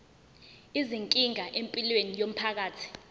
izinkinga empilweni yomphakathi